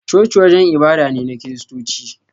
Coci wajen ibada ne na kiristoci